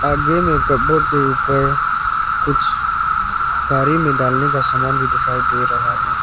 आगे में कपबोर्ड के ऊपर कुछ गारी में डालने का सामान भी दिखाई दे रहा है।